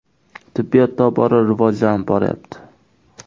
Tibbiyot tobora rivojlanib boryapti.